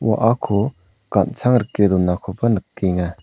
wa·ako gan·sang rike donakoba nikenga.